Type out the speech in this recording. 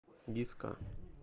диско